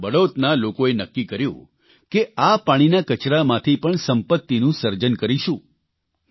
પરંતુ બડૌતના લોકોએ નક્કી કર્યું કે આ પાણીના કચરામાંથી પણ સંપત્તિનું સર્જન કરીશું